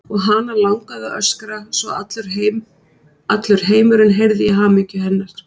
Og hana langaði að öskra svo að allur heimurinn heyrði í hamingju hennar.